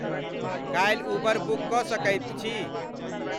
काल्हि Uber book क सकैत छी